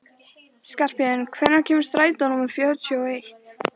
Skarphéðinn, hvenær kemur strætó númer fjörutíu og eitt?